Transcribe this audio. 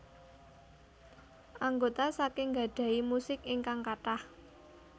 Anggota saking gadhahi musik ingkang kathah